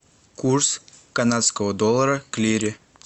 курс канадского доллара к лире